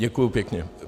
Děkuji pěkně.